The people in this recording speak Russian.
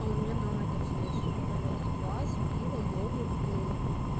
а у меня дома это всё есть у меня дома есть квас пиво йогурты